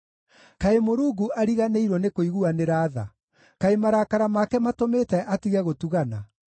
Kaĩ Mũrungu ariganĩirwo nĩkũiguanĩra tha? Kaĩ marakara make matũmĩte atige gũtugana?”